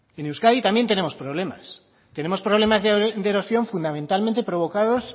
en euskadi también tenemos problemas tenemos problemas de erosión fundamentalmente provocados